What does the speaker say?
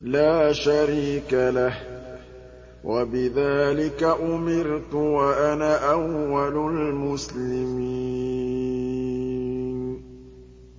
لَا شَرِيكَ لَهُ ۖ وَبِذَٰلِكَ أُمِرْتُ وَأَنَا أَوَّلُ الْمُسْلِمِينَ